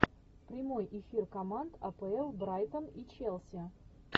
прямой эфир команд апл брайтон и челси